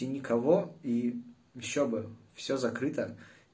и никого и ещё бы всё закрыто